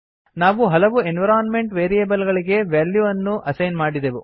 ನಾವು ಹಲವು environment variable ಗಳಿಗೆ ವ್ಯಾಲ್ಯೂ ವನ್ನು ಅಸೈನ್ ಮಾಡಿದೆವು